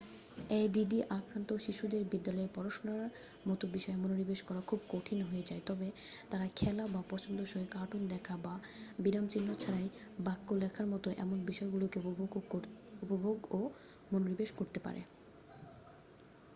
ADD আক্রান্ত শিশুদের বিদ্যালয়ের পড়াশুনার মতো বিষয়ে মনোনিবেশ করা খুবই কঠিন হয়ে যায় তবে তারা খেলা বা পছন্দসই কার্টুন দেখা বা বিরামচিহ্ন ছাড়াই বাক্য লেখার মতো এমন বিষয়গুলিতে উপভোগ ও মনোনিবেশ করতে পারে